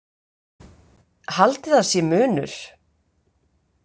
Haldið að sé munur!